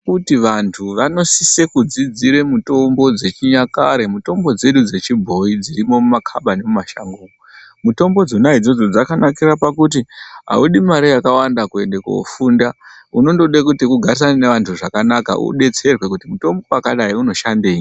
Kuti vantu vanosisira kudzidza mitombo dzechinyakare mitombo dzedu dzechibhoyi dziri mumakabati nemumashango mitombo idzodzo dzakanakira kuti audi mare yakawanda koenda kofunda unongoda ugarisane nevantu zvakanaka udetserwe kuti mutombo wakati unoshandei.